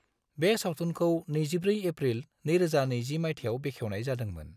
बे सावथुनखौ 24 एप्रिल 2020 मायथाइयाव बेखेवनाय जादोंमोन।